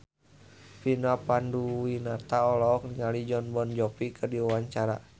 Vina Panduwinata olohok ningali Jon Bon Jovi keur diwawancara